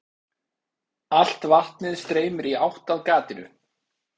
Allt vatnið streymir í átt að gatinu.